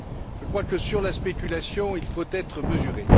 Je crois que, sur la spéculation, il faut être mesuré.